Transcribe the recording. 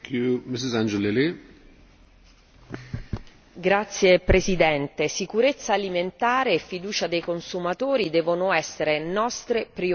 Signor Presidente, sicurezza alimentare e fiducia dei consumatori devono essere nostre priorità.